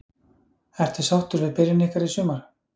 Ertu sáttur við byrjun ykkar í sumar?